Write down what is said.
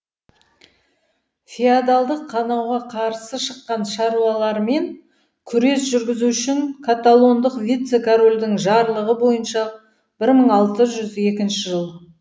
феодалдық қанауға қарсы шыққан шаруалармен күрес жүргізу үшін каталондық вице корольдің жарлығы бойынша бір мың алты жүз екінші жыл